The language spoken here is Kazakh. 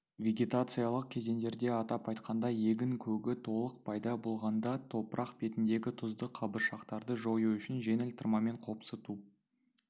вегетациялық кезеңдерде атап айтқанда егін көгі толық пайда болғанда топырақ бетіндегі тұзды қабыршақтарды жою үшін жеңіл тырмамен қопсыту